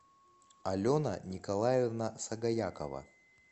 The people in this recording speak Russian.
алена николаевна сагаякова